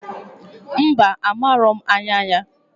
Mba! Amaro m anya ya.